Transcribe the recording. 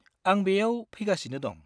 आं बेयाव फैगासिनो दं।